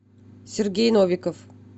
сергей новиков